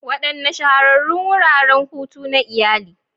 Wadanne Shahararrun Wuraren Hutu na Iyali?